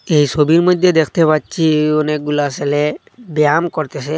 এই সবির মধ্যে দেখতে পাচ্ছি অনেকগুলা সেলে ব্যায়াম করতেসে।